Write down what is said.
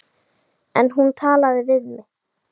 En hún talaði við mig.